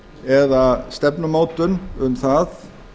eða stefnumótun um það